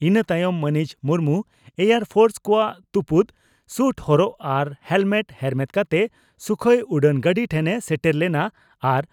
ᱤᱱᱟᱹ ᱛᱟᱭᱚᱢ ᱢᱟᱹᱱᱤᱡ ᱢᱩᱨᱢᱩ ᱮᱭᱟᱨ ᱯᱷᱚᱨᱥ ᱠᱚᱣᱟᱜ ᱛᱩᱯᱩᱫ ᱥᱩᱴ ᱦᱚᱨᱚᱜ ᱟᱨ ᱦᱮᱞᱢᱮᱴ ᱦᱮᱨᱢᱮᱫ ᱠᱟᱛᱮ ᱥᱩᱠᱷᱚᱭ ᱩᱰᱟᱹᱱ ᱜᱟᱹᱰᱤ ᱴᱷᱮᱱ ᱮ ᱥᱮᱴᱮᱨ ᱞᱮᱱᱟ ᱟᱨ